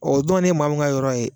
O donna ni maa min ka yɔrɔ ye.